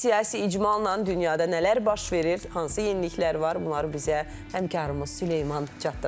Siyasi icmalla dünyada nələr baş verir, hansı yeniliklər var, bunları bizə həmkarımız Süleyman çatdıracaq.